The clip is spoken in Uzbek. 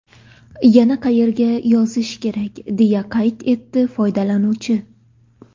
Yana qayerga yozish kerak?” deya qayd etdi foydalanuvchi.